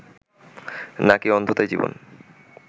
না-কি অন্ধতাই জীবন